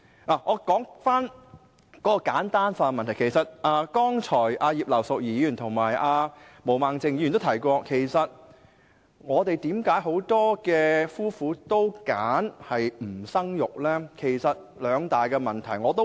讓我先說說簡單化的問題，剛才葉劉淑儀議員和毛孟靜議員均提到為何香港很多夫婦也選擇不生育，其實關乎兩大問題。